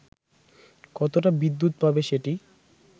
কতটা বিদ্যুৎ পাবে সেটি